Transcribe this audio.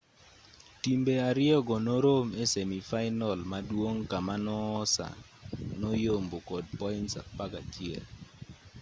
timbe ariyogo norom e semi fainal maduong' kama noosa noyombo kod points 11